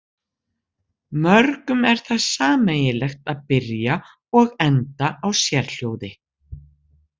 Mörgum er það sameiginlegt að byrja og enda á sérhljóði.